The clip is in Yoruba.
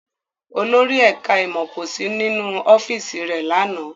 Olórí ẹ̀ká ìmọ̀ kò sí nínú ọ́fíìsì rẹ̀ lánàá